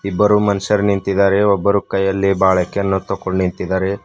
ಇಬ್ಬರು ಮನುಷ್ಯರು ನಿಂತಿದ್ದಾರೆ ಒಬ್ಬರು ಕೈಯಲ್ಲಿ ಬಳಕೆಯನ್ನು ತಕೊಂಡು ನಿಂತಿದ್ದಾರೆ.